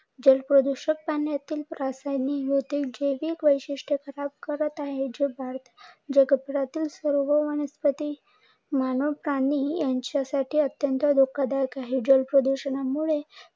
जल प्रदुषक पाण्यातील रासायनिक व जैविक वैशिष्ट कमी करत आहे. जे सर्व वनस्पती, मानव प्राणी यांच्यासाठी अत्यंत धोका दायक आहे. जल प्रदुषणामुळे